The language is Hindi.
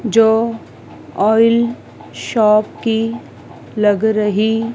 जो ऑइल शॉप की लग रही--